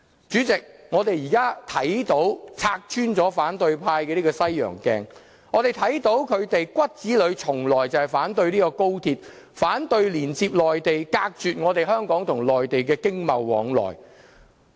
主席，我們現在拆穿了反對派的西洋鏡，我們看到他們骨子裏從來就是反對高鐵，反對連接內地，隔絕香港與內地的經貿往來。